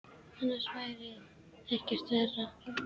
Annars væri ekkert verra.